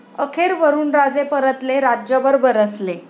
अखेर वरुणराजे परतले, राज्यभर बरसले